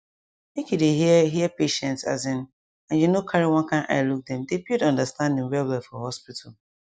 make you dey hear hear patients asin and you no carry one kind eye look dem dey build understanding well well for hospital